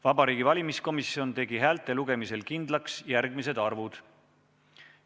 Vabariigi Valimiskomisjon tegi häälte lugemisel kindlaks järgmised arvud.